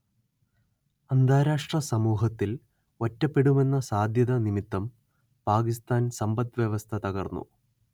അന്താരാഷ്ട്ര സമൂഹത്തിൽ ഒറ്റപ്പെടുമെന്ന സാധ്യത നിമിത്തം പാകിസ്താൻ സമ്പദ് വ്യവസ്ഥ തകർന്നു